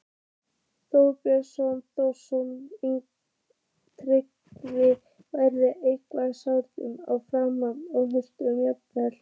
Þorbjörn Þórðarson: Tryggvi, verða einhverjar seinkanir á framkvæmd skuldaleiðréttingarinnar?